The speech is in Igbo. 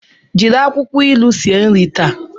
Jiri akwukwo ilu sie nri taa!